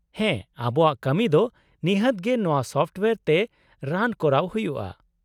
ᱦᱮᱸ, ᱟᱵᱚᱣᱟᱜ ᱠᱟᱹᱢᱤ ᱫᱚ ᱱᱤᱦᱟᱹᱛ ᱜᱮ ᱱᱚᱶᱟ ᱥᱚᱯᱷᱚᱴᱳᱭᱟᱨ ᱛᱮ ᱨᱟᱱ ᱠᱚᱨᱟᱣ ᱦᱩᱭᱩᱜᱼᱟ ᱾